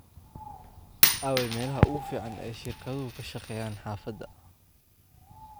aaway meelaha ugu fiican ee shirkaduhu ka shaqeeyaan xaafadda